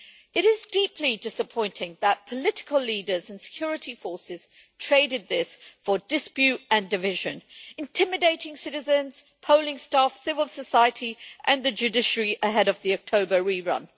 It is deeply disappointing that political leaders and security forces traded this for dispute and division, intimidating citizens, polling staff, civil society and the judiciary ahead of the October rerun.